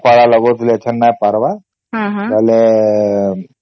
ଲଗାଉଥିଲି ନାଇଁ ପାରିବ ପେହେଲା